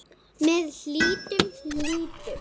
Með hlýjum litum.